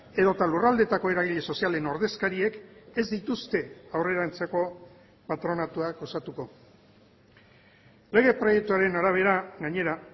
edota lurraldeetako eragile sozialen ordezkariek ez dituzte aurrerantzeko patronatuak osatuko lege proiektuaren arabera gainera